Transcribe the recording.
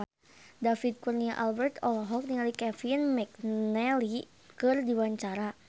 David Kurnia Albert olohok ningali Kevin McNally keur diwawancara